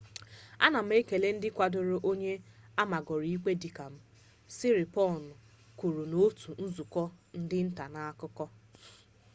ana m ekele ndị kwadoro onye amagoro ikpe dịka m siriporn kwuru n'otu nzukọ ndị nta akụkọ